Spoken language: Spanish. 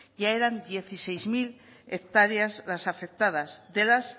ya eran dieciséis mil hectáreas las afectadas de las